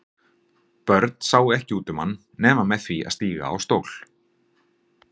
Börn sáu ekki út um hann nema með því að stíga á stól.